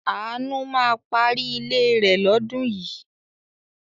Àánú ma parí ilé rẹ̀ lọ́dún yìí.